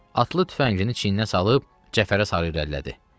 Atlı tüfəngini çiyninə salıb Cəfərə sarı irəlilədi.